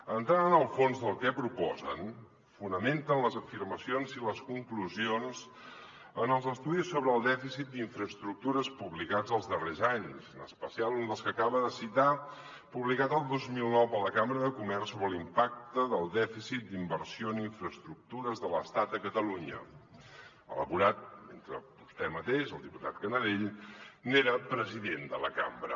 entrant en el fons del que proposen fonamenten les afirmacions i les conclusions en els estudis sobre el dèficit d’infraestructures publicats els darrers anys en especial un dels que acaba de citar publicat el dos mil dinou per la cambra de comerç sobre l’impacte del dèficit d’inversió en infraestructures de l’estat a catalunya elaborat mentre vostè mateix el diputat canadell n’era president de la cambra